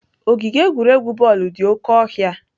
Ogige egwuregwu bọọlụ dị oke ọhịa.